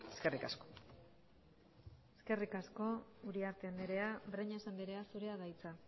eskerrik asko eskerrik asko uriarte andrea breñas andrea zurea da hitza